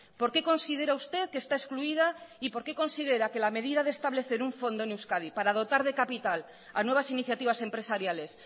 por qué considera usted que está excluida y por qué considera que la medida de establecer un fondo en euskadi para dotar de capital a nuevas iniciativas empresariales